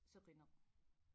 Seqineq